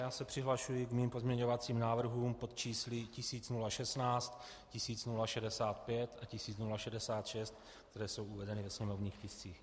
Já se přihlašuji k svým pozměňovacím návrhům pod čísly 1016, 1065 a 1066, které jsou uvedeny ve sněmovních tiscích.